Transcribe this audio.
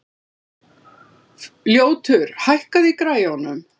Ljótur, hækkaðu í græjunum.